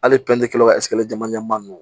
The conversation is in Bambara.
Hali pɛntiri kɛlen ka jɛman ɲɛ maa nu